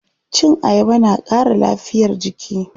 Cin ayaba na ƙara lafiyar jiki.